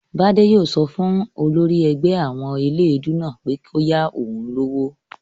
Bádé yóò sọ fún olórí ẹgbẹ́ àwọn eléèdúú náà pé kó yá òun lówó